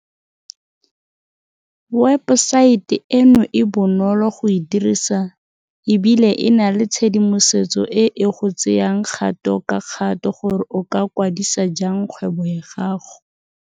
Webesaete eno e bonolo go e dirisa e bile e na le tshedimosetso e e go tseyang kgato ka kgato gore o ka kwa disa jang kgwebo ya gago.